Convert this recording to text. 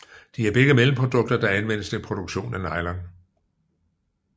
De er begge mellemprodukter der anvendes til produktion af nylon